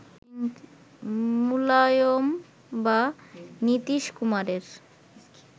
মুলায়ম বা নীতীশ কুমারের